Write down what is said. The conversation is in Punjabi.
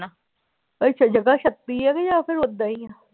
ਇੱਥੇ ਜਗ੍ਹਾ ਛੱਤੀ ਕਿ ਜਾਂ ਫਿਰ ਓਦਾਂ ਹੀ ਆਂ